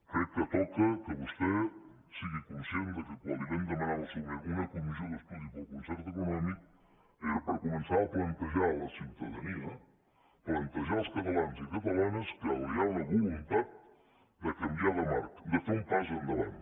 crec que toca que vostè sigui conscient que quan li vam demanar en el seu moment una comissió d’estudi per al concert econòmic era per comen çar a plantejar a la ciutadania plantejar als catalans i catalanes que hi ha una voluntat de canviar de marc de fer un pas endavant